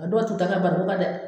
A dɔw t'u ta kɛ barikon ka dɛ